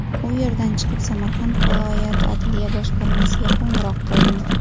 U yerdan chiqib Samarqand viloyat adliya boshqarmasiga qo‘ng‘iroq qildim.